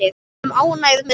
Við erum ánægð með það.